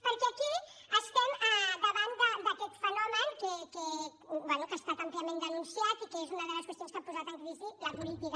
perquè aquí estem davant d’aquest fenomen que bé ha estat àmpliament denunciat i que és una de les qüestions que ha posat en crisi la política